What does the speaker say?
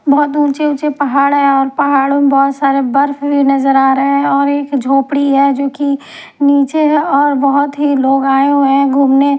बहुत ऊंचे ऊंचे पहाड़ हैं और पहाड़ों में बहुत सारे बर्फ भी नजर आ रहे हैं और एक झोपड़ी है जो कि नीचे है और बहुत ही लोग आए हुए हैं घुमने --